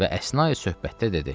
Və əsna söhbətdə dedi.